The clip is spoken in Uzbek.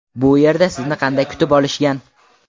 Bu yerda sizni qanday kutib olishgan?